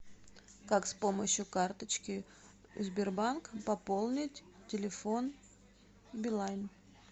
как с помощью карточки сбербанк пополнить телефон билайн